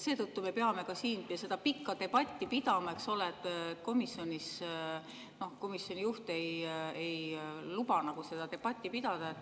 Seetõttu me peame ka siin seda pikka debatti pidama, eks ole, sest komisjonis komisjoni juht ei luba seda pidada.